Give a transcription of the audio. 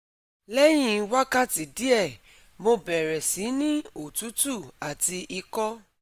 Leyin wakati die mo bere si ni otutu ati iko